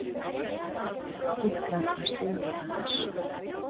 Ekki var það siður hans.